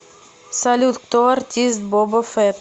салют кто артист боба фетт